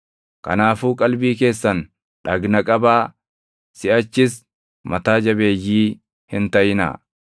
Kanaafuu qalbii keessan dhagna qabaa; siʼachis mataa jabeeyyii hin taʼinaa.